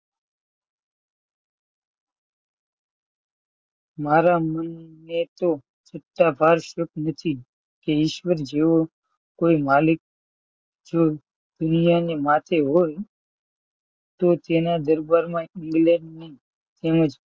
કે ઈશ્વર જેવો કોઈ માલિક જો દુનિયાને માટે હોય તો તેના દરબારમાં ઇંગ્લેન્ડની તેમજ